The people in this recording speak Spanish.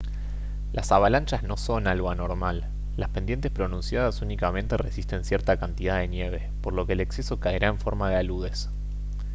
las avalanchas no son algo anormal las pendientes pronunciadas únicamente resisten cierta cantidad de nieve por lo que el exceso caerá en forma de aludes